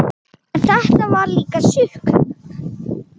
En þetta var líka sukk.